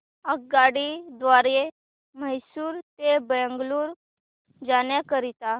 आगगाडी द्वारे मैसूर ते बंगळुरू जाण्या करीता